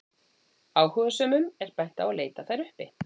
Áhugasömum er bent á að leita þær uppi.